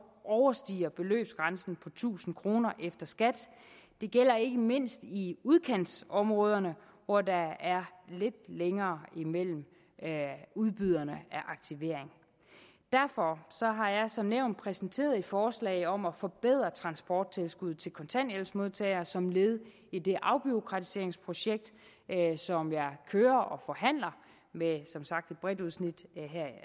overstiger beløbsgrænsen på tusind kroner efter skat det gælder ikke mindst i udkantsområderne hvor der er lidt længere imellem udbyderne af aktivering derfor har jeg som nævnt præsenteret et forslag om at forbedre transporttilskuddet til kontanthjælpsmodtagere som led i det afbureaukratiseringsprojekt som jeg kører og forhandler med som sagt et bredt udsnit